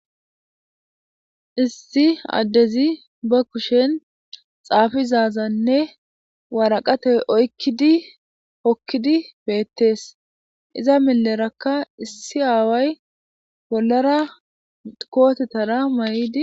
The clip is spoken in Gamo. Issi addezi ba kushen xaafizazanne waaraqate oykkidi hokkidi beettees iza milerakka issi aaway bollara kootetara may'idi.